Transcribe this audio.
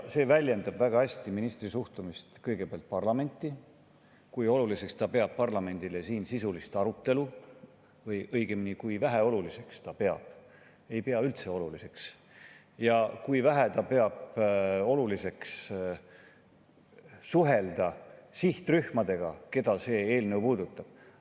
See väljendab väga hästi ministri suhtumist kõigepealt parlamenti – kui oluliseks ta peab parlamendi sisulist arutelu või õigemini, kui väheoluliseks ta peab seda, ei pea üldse oluliseks – ja kui vähe oluliseks ta peab suhelda sihtrühmadega, keda see eelnõu puudutab.